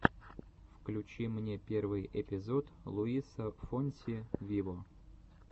включи мне первый эпизод луиса фонси виво